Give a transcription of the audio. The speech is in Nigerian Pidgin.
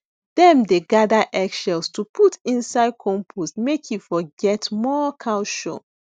dem dey gather egg shells to put inside compost make e for get more calcium